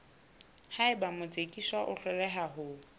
haeba motsekiswa a hloleha ho